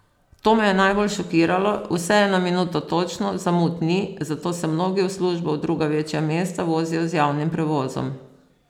To me je najbolj šokiralo, vse je na minuto točno, zamud ni, zato se mnogi v službo v druga večja mesta vozijo z javnim prevozom.